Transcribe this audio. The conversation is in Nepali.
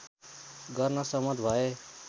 गर्न सहमत भए